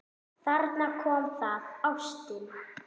Þarna kom það: Ástin.